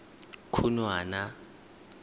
khunwana